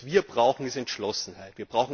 Was wir brauchen, ist Entschlossenheit.